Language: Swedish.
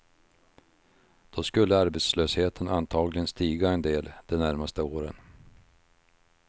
Då skulle arbetslösheten antagligen stiga en del de närmaste åren.